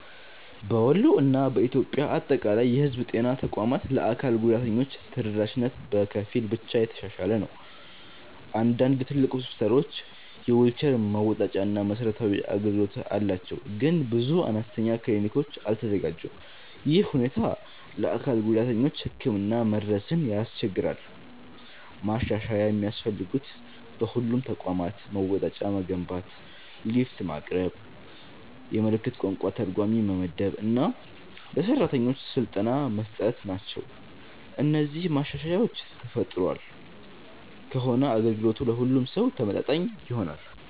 በወሎ እና በኢትዮጵያ አጠቃላይ የህዝብ ጤና ተቋማት ለአካል ጉዳተኞች ተደራሽነት በከፊል ብቻ የተሻሻለ ነው። አንዳንድ ትልቅ ሆስፒታሎች የዊልቸር መወጣጫ እና መሰረታዊ አገልግሎት አላቸው፣ ግን ብዙ አነስተኛ ክሊኒኮች አልተዘጋጁም። ይህ ሁኔታ ለአካል ጉዳተኞች ህክምና መድረስን ያስቸግራል። ማሻሻያ የሚያስፈልጉት በሁሉም ተቋማት መወጣጫ መገንባት፣ ሊፍት ማቅረብ፣ የምልክት ቋንቋ ተርጓሚ መመደብ እና ለሰራተኞች ስልጠና መስጠት ናቸው። እነዚህ ማሻሻያዎች ተፈጥሯል ከሆነ አገልግሎቱ ለሁሉም ሰው ተመጣጣኝ ይሆናል።